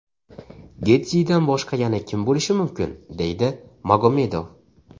Getjidan boshqa yana kim bo‘lishi mumkin?”, deydi Magomedov.